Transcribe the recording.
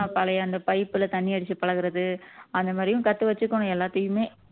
பழைய அந்த pipe ல தண்ணி அடிச்சு பழகறது அந்த மாதிரியும் கத்து வச்சுக்கணும் எல்லாத்தையுமே